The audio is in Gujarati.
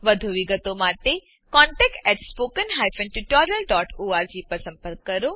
વધુ વિગતો માટે કૃપા કરી contactspoken tutorialorg પર લખો